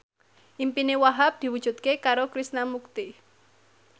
impine Wahhab diwujudke karo Krishna Mukti